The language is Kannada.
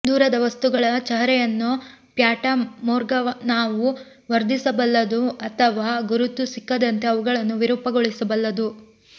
ದೂರದ ವಸ್ತುಗಳ ಚಹರೆಯನ್ನು ಫ್ಯಾಟಾ ಮೋರ್ಗಾನಾವು ವರ್ಧಿಸಬಲ್ಲದು ಅಥವಾ ಗುರುತು ಸಿಕ್ಕದಂತೆ ಅವುಗಳನ್ನು ವಿರೂಪಗೊಳಿಸಬಲ್ಲದು